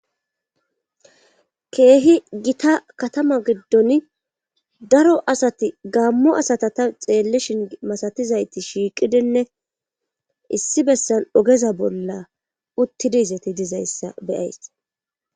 Keehi gita katama giddon daro asati gammo asata ta xeellishin masatizayti shiiqidinne issi bessa ogeza bolla uttidizati dizayssa beyays